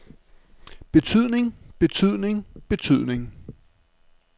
betydning betydning betydning